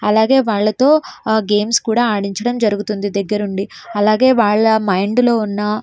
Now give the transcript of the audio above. అలాగే వాళ్ళతో గేమ్స్ కూడా ఆడించడం జరుగుతుంది దగ్గరుండి అలాగే వాళ్ళ మైండ్ లో ఉన్న --